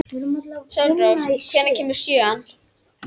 Sólrós, hvenær kemur sjöan?